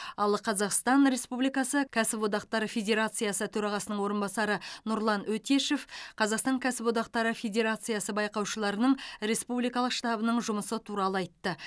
ал қазақстан республикасы кәсіподақтар федерациясы төрағасының орынбасары нұрлан өтешев қазақстан кәсіподақтары федерациясы байқаушыларының республикалық штабының жұмысы туралы айтты